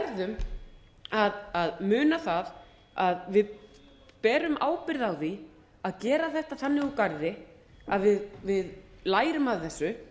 við verðum að muna það að við berum ábyrgð á því að gera þetta þannig úr garði að við lærum af þessu